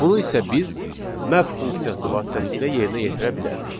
Bunu isə biz map funksiyası vasitəsilə yerinə yetirə bilərik.